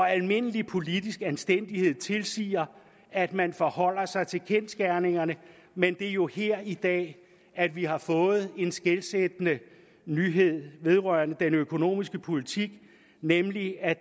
almindelig politisk anstændighed tilsiger at man forholder sig til kendsgerningerne men det er jo her i dag at vi har fået en skelsættende nyhed vedrørende den økonomiske politik nemlig at